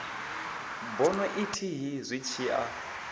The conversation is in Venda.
bono ithihi zwi tshi a